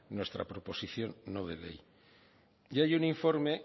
nuestra proposición no de ley y hay un informe